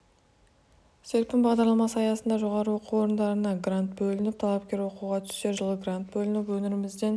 серпін бағдарламасы аясында жоғары оқу орындарына грант бөлініп талапкер оқуға түссе жылы грант бөлініп өңірімізден